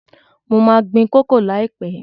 Mo ma gbin koko líàpẹ́